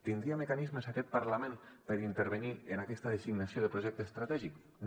tindria mecanismes aquest parlament per intervenir en aquesta designació de projecte estratègic no